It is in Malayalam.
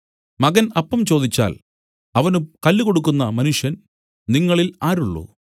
മകൻ അപ്പം ചോദിച്ചാൽ അവന് കല്ല് കൊടുക്കുന്ന മനുഷ്യൻ നിങ്ങളിൽ ആരുള്ളു